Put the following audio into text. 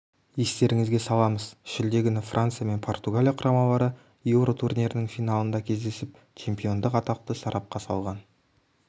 естеріңізге саламыз шілде күні франция мен португалия құрамалары еуро турнирінің финалында кездесіп чемпиондық атақты сарапқа салған